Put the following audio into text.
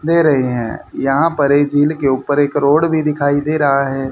ले रहे हैं यहां पर एक झील के ऊपर एक रोड भी दिखाई दे रहा है।